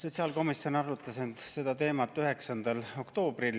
Sotsiaalkomisjon arutas seda teemat 9. oktoobril.